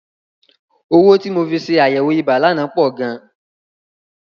Owó tí mo fi ṣe àyẹ̀wò ibà lánàá pọ̀ gan.